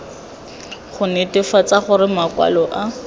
go netefatsa gore makwalo a